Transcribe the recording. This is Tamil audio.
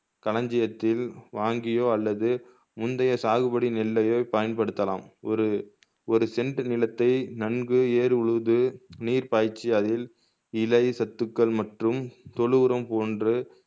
கலஞ்சியத்தில் வாங்கியோ அல்லது முந்தைய சாகுபடி நெல்லையோ பயன்படுத்தலாம் ஒரு ஒரு சென்ட்டு நிலத்தை நன்கு ஏர் உழுது நீர் பாய்ச்சி அதில் இலை சத்துக்கள் மற்றும் தொழு உரம் போன்று